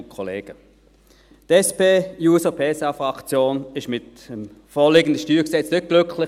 Die SP-JUSO-PSA-Fraktion ist mit dem vorliegenden StG nicht glücklich.